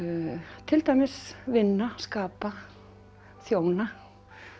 til dæmis vinna skapa þjóna